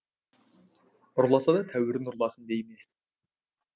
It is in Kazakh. ұрласа да тәуірін ұрласын дей ме